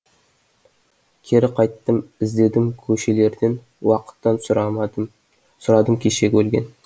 кері қайттым іздедім көшелерден уақыттан сұрадым кешегі өлген